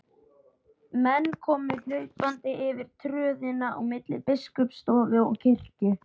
Menn komu hlaupandi yfir tröðina á milli biskupsstofu og kirkju.